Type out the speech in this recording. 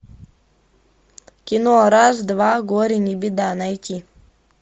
кино раз два горе не беда найти